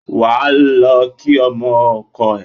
Ẁ á lọ kí ọmọ ọkọ ẹ